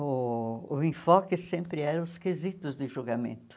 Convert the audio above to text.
Uh o enfoque sempre eram os quesitos de julgamento.